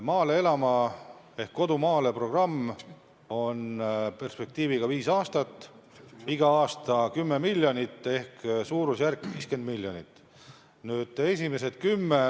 "Maale elama!" ehk "Kodu maale!" programm on perspektiiviga viis aastat, iga aasta eraldatakse 10 miljonit ehk kokku suurusjärgus 50 miljonit.